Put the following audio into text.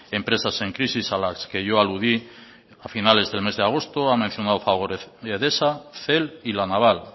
empresas en crisis a las que yo aludí a finales del mes de agosto ha mencionado a fagor edesa cel y la naval